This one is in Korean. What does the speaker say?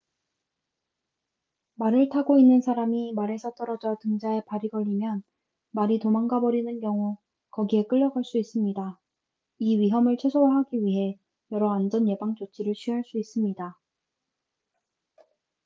말을 타고 있는 사람이 말에서 떨어져 등자에 발이 걸리면 말이 도망가 버리는 경우 거기에 끌려갈 수 있습니다 이 위험을 최소화하기 위해 여러 안전 예방 조치를 취할 수 있습니다